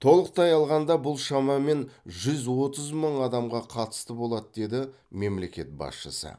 толықтай алғанда бұл шамамен жүз отыз мың адамға қатысты болады деді мемлекет басшысы